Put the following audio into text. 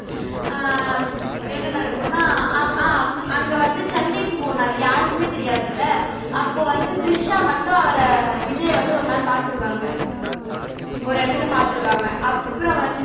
அஹ் என்ன நடக்கும்னா ஆஹ் அஹ் அங்க வந்து சென்னைக்கு போனாருல்ல யாருக்குமே தெரியாது இல்ல அப்ப வந்து திரிஷா மட்டும் அவர விஜய வந்து ஒருநாள் பார்த்திருவாங்க ஒரு இடத்துல பார்த்திருவாங்க அப்புறம் வந்து